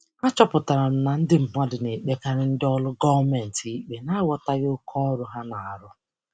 Achọpụtara m na ndị mmadụ na-ekpekarị ndị ọrụ gọọmentị ikpe n'aghọtaghị oke ọrụ ha na-arụ.